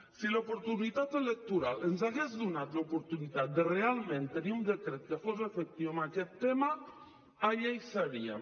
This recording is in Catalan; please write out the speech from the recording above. si l’oportunitat electoral ens hagués donat l’oportunitat de realment tenir un decret que fos efectiu en aquest tema allà seríem